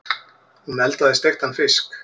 Hún eldaði steiktan fisk.